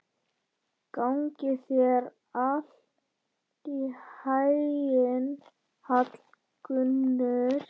Gangi þér allt í haginn, Hallgunnur.